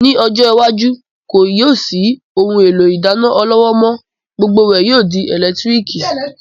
Ní ọjọ́ iwájú, kì yóò sí ohun èlò ìdáná ọlọ́wọ́ mọ́, gbogbo rẹ̀ yóò di ẹ̀lẹ́tíríkì